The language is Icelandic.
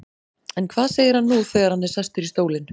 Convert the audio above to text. En hvað segir hann nú þegar hann er sestur í stólinn?